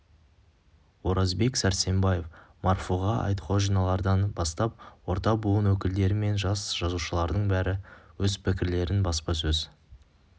оразбек сәрсенбаев марфуға айтқожиналардан бастап орта буын өкілдері мен жас жазушылардың бәрі өз пікірлерін баспасөз